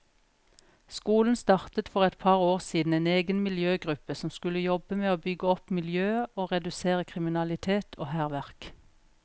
Skolen startet for et par år siden en egen miljøgruppe som skulle jobbe med å bygge opp miljøet og redusere kriminalitet og hærverk.